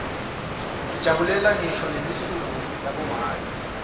sijabulela ngisho nelisuku labomake